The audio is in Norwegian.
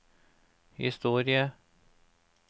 historie